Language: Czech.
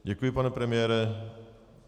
Děkuji, pane premiére.